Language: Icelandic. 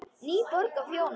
NÝBORG Á FJÓNI,